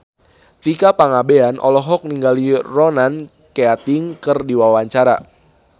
Tika Pangabean olohok ningali Ronan Keating keur diwawancara